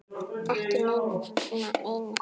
Ekki neina eina.